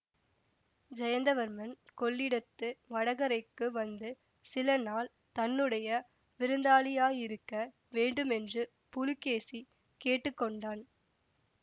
ஜயந்தவர்மன் கொள்ளிடத்து வடகரைக்கு வந்து சில நாள் தன்னுடைய விருந்தாளியாயிருக்க வேண்டுமென்று புலிகேசி கேட்டு கொண்டான்